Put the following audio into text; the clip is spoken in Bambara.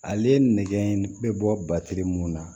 Ale nɛgɛ bɛ bɔ mun na